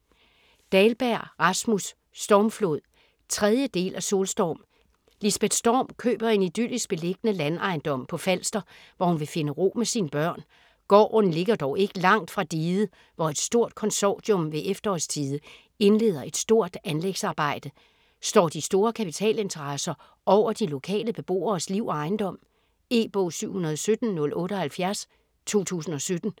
Dahlberg, Rasmus: Stormflod 3. del af Solstorm. Lisbeth Storm køber en idyllisk beliggende landejendom på Falster, hvor hun vil finde ro med sine børn. Gården ligger dog ikke langt fra diget, hvor et stort konsortium ved efterårstide indleder et stort anlægsarbejde. Står de store kapitalinteresser over de lokale beboeres liv og ejendom? E-bog 717078 2017.